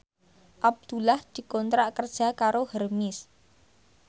Abdullah dikontrak kerja karo Hermes